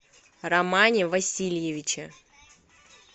романе васильевиче